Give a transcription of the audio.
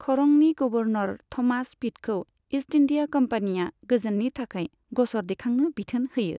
खरंनि governor Thomas पिटखौ East India कम्पानिआ गोजोननि थाखाय गसर दिखांनो बिथोन होयो।